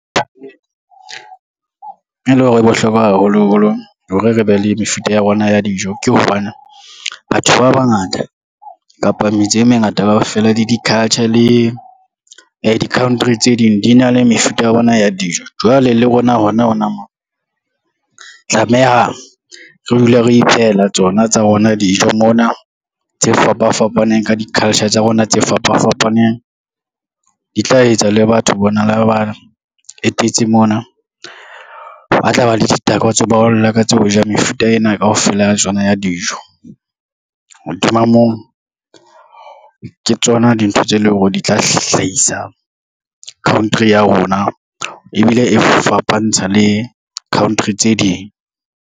E lo re e bohlokwa haholoholo hore re be le mefuta ya rona ya dijo, ke hobane batho ba bangata kapa metseng e mengata kaofela le di-culture le di-country tse ding, di na le mefuta ya bona ya dijo. Jwale le rona hona hona moo, tlameha re dule re iphehela tsona tsa rona dijo mona tse fapafapaneng ka di-culture tsa rona tse fapafapaneng. Di tla etsa le batho bona ha ba etetse mona, ba tla ba le ditakatso ba ho lakatsa ho ja mefuta ena kaofela tsona ya dijo, hodima moo ke tsona dintho tse leng hore di tla hlahisa country ya rona ebile e fapantsha le country tse ding.